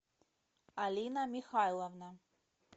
алина михайловна